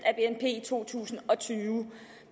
to tusind og tyve